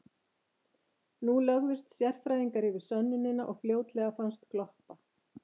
Nú lögðust sérfræðingar yfir sönnunina og fljótlega fannst gloppa.